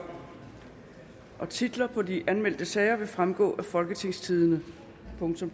titlerne på de anmeldte sager vil fremgå af folketingstidende